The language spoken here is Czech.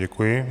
Děkuji.